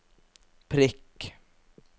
prikk